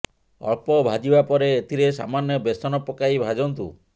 ଅଳ୍ପ ଭାଜିବା ପରେ ଏଥିରେ ସାମାନ୍ୟ ବେସନ ପକାଇ ଭାଜନ୍ତୁ